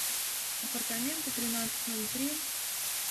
апартаменты тринадцать ноль три